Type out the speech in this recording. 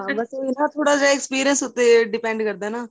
ਹਾਂ ਉਹੀ ਏ ਨਾ ਥੋੜਾ ਜਾਂ experience ਉਥੇ depend ਕਰਦਾ ਹੈ ਨਾ